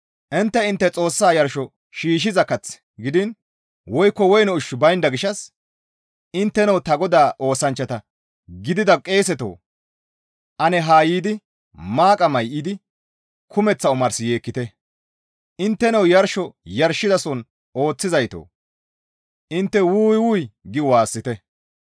Intte intte Xoossa yarsho shiishshiza kath gidiin woykko woyne ushshi baynda gishshas intteno ta Godaa oosanchchata gidida qeesetoo! Ane haa yiidi maaqa may7idi kumeththa omars yeekkite. Intteno yarsho yarshizason ooththizaytoo! Intte, «Wuu! Wuy!» gi waassite.